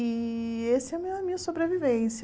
E esse é a minha sobrevivência.